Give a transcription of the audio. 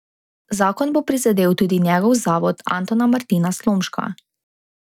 Zakon bo prizadel tudi njegov Zavod Antona Martina Slomška.